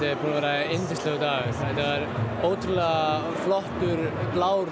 vera yndislegur dagur það er ótrúlega flottur blár